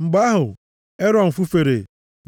Mgbe ahụ, Erọn fufere,